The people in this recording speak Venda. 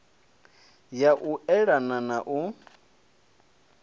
ya u eana na u